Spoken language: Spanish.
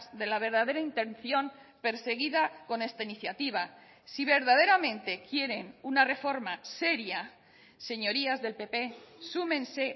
de la verdadera intención perseguida con esta iniciativa si verdaderamente quieren una reforma seria señorías del pp súmense